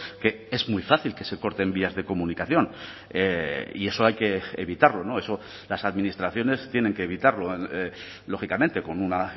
que es muy fácil que se corten vías de comunicación y eso hay que evitarlo eso las administraciones tienen que evitarlo lógicamente con una